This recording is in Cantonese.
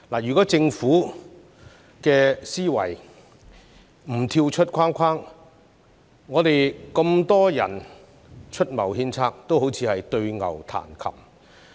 如果政府的思維不跳出框框，我們這麼多人出謀獻策，也只會像對牛彈琴。